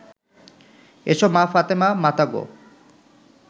এসো মা ফাতেমা মাতা গো